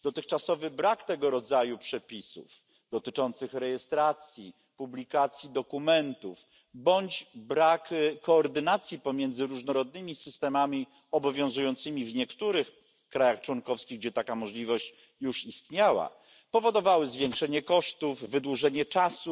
Dotychczasowy brak tego rodzaju przepisów dotyczących rejestracji, publikacji dokumentów bądź brak koordynacji pomiędzy różnorodnymi systemami obowiązującymi w niektórych krajach członkowskich, gdzie taka możliwość już istniała, powodowały zwiększenie kosztów, wydłużenie czasu